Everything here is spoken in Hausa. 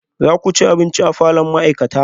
Za ku ci abinci a falon ma'aikata?